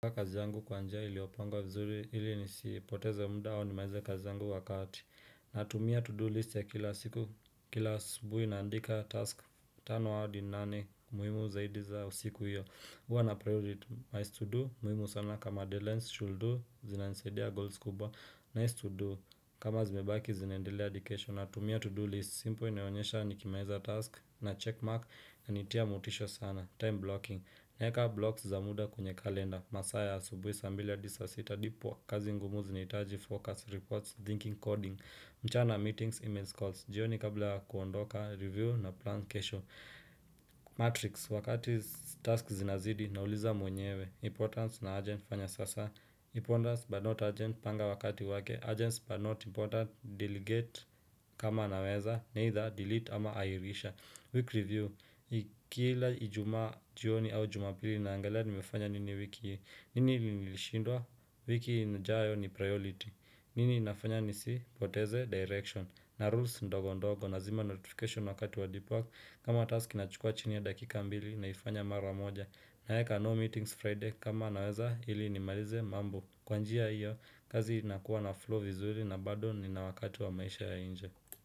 Kwa kazi yangu kwa njia ilioponga vizuri ili nisiipoteza muda au ni malize kazi yangu wakati Natumia to do list ya kila siku kila subuhi naandika task tano hadi nane muhimu zaidi za siku hiyo huwa na priority nice to do muhimu sana kama delance should do zinansaidia goals kubwa nice to do kama zimebaki zinaendelea hadi kesho natumia to do list simple inionyesha nikimaliza task na check mark na nitia motisha sana time blocking, naeka blocks za muda kwenye kalenda masaa ya asubuhi saa mbili hadi saa sita ndipo kazi ngumu zinaitaji, focus, reports, thinking, coding mchana meetings, email calls jioni kabla kuondoka, review na plan kesho Matrix, wakati task zinazidi na uliza mwenyewe Importance na urgent fanya sasa Importance but not agent panga wakati wake urgents but not important, delegate kama naweza Neither delete ama airisha Week review, kila ijumaa jioni au jumapili na angalia ni mefanya nini wiki, nini nilishindwa, wiki inijayo ni priority, nini nafanya nisi poteze, direction, na rules ndogo ndogo, nazima notification wakati wa deep work, kama task na chukua chini ya dakika mbili naifanya mara moja, naweka no meetings Friday, kama naweza ili ni malize mambo, kwa njia hiyo, kazi inakuwa na flow vizuri na bado ni na wakati wa maisha ya inje.